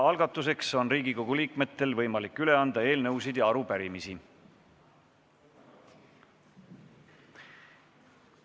Algatuseks on Riigikogu liikmetel võimalik üle anda eelnõusid ja arupärimisi.